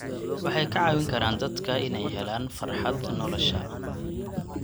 Waxay ka caawin karaan dadka inay helaan farxad nolosha.